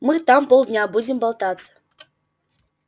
мы там полдня будем болтаться